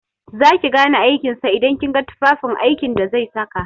Za ki gane aikin sa idan kin ga tufafin aiki da zai saka.